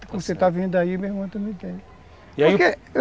Você está vendo aí, meu irmão também tem.